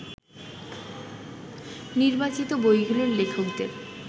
নির্বাচিত বইগুলোর লেখকদের